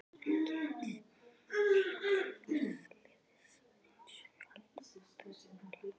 Ekki einn þíns liðs einsog aldan á þurru landi.